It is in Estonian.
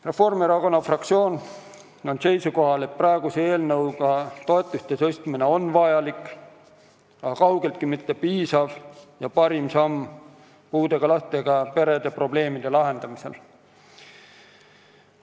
Reformierakonna fraktsioon on seisukohal, et praeguse eelnõuga toetuste tõstmine on vajalik, kuid kaugeltki mitte piisav ega parim samm puudega lastega perede probleemide lahendamiseks.